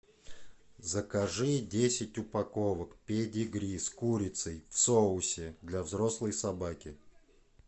закажи десять упаковок педигри с курицев в соусе для взрослой собаки